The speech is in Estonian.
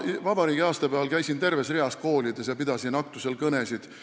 Ma käisin vabariigi aastapäeval terves reas koolides ja pidasin aktustel kõnesid.